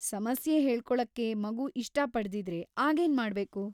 ಸಮಸ್ಯೆ ಹೇಳ್ಕೊಳಕ್ಕೆ ಮಗು ಇಷ್ಟಪಡ್ದಿದ್ರೆ ಆಗೇನ್ ಮಾಡ್ಬೇಕು?